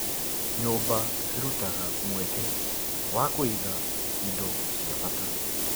Nyũmba cirutaga mweke wa kũiga indo cia bata.